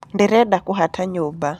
Ndĩrenda kũhata nyũmba.